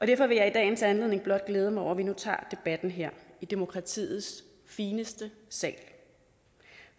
derfor vil jeg i dagens anledning blot glæde mig over at vi nu tager debatten her i demokratiets fineste sal